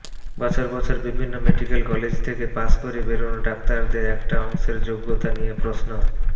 বছর বছর বিভিন্ন মেডিক্যাল কলেজ থেকে পাশ করে বেরোনো ডাক্তারদের একটা অংশের যোগ্যতা নিয়ে প্রশ্ন